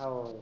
हो